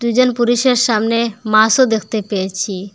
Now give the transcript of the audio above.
দুজন পুরুষের সামনে মাছও দেখতে পেয়েছি।